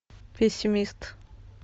пессимист